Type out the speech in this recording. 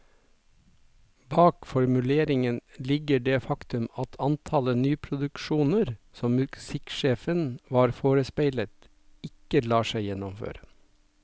Bak formuleringen ligger det faktum at antallet nyproduksjoner som musikksjefen var forespeilet, ikke lar seg gjennomføre.